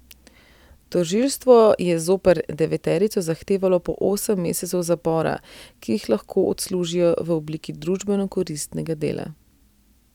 Tožilstvo je zoper deveterico zahtevalo po osem mesecev zapora, ki jih lahko odslužijo v obliki družbeno koristnega dela.